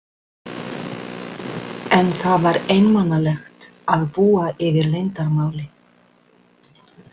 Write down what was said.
En það var einmanalegt að búa yfir leyndarmáli.